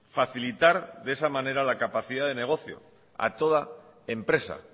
facilitar de esa manera la capacidad de negocio a toda empresa